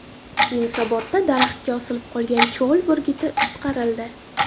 Yunusobodda daraxtga osilib qolgan cho‘l burguti qutqarildi .